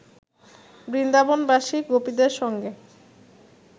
বৃন্দাবনবাসী গোপীদের সঙ্গে